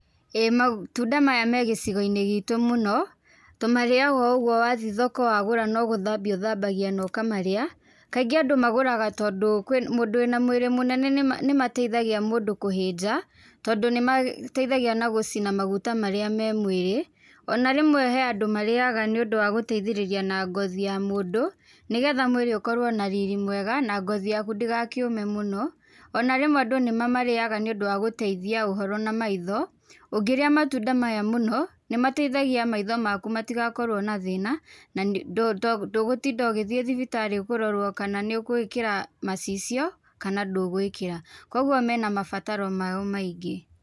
ĨĨ matunda maya me gĩcigo-inĩ gĩtũ mũno, tũmarĩaga o ũguo wathii thoko wagũra no gũthambia ũthambagia no ũkamarĩa, kaingĩ andũ magũraga tondũ mũndũ wĩna mwĩrĩ mũnene nĩmateithagia mũndũ kũhĩnja, tondũ nĩmateithagia na gũcina maguta marĩa me mwĩrĩ, ona rĩmwe he andũ marĩaga nĩ ũndũ wa gũteithĩrĩria na ngothi ya mũndũ, nĩgetha mwĩrĩ ũkorwo na riri mwega na ngothi yaku ndĩgakĩũme mũno, ona rĩmwe andũ nĩmamarĩaga nĩ ũndũ wa gũteithia ũhoro na maitho, ũngĩrĩa matunda maya mũno, nĩmateithagia maitho maku matigakorwo na thĩna na ndũgũtinda ũgĩthiĩ thibitarĩ kũrorwo kana nĩũgwĩkĩra macicio, kana ndũgwĩkĩra. Koguo mena mabataro mao maingĩ.